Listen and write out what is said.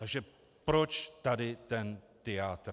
Takže proč tady ten tyjátr?